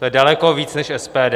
To je daleko víc než SPD.